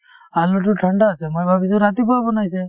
আলুতো ঠাণ্ডা আছে মই ভাবিছো ৰাতিপুৱা বনাইছে